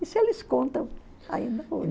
Isso eles contam